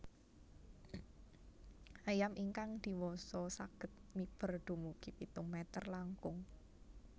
Ayam ingkang diwasa saged miber dumugi pitung mèter langkung